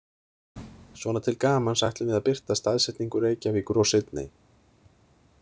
Svona til gamans ætlum við að birta staðsetningu Reykjavíkur og Sydney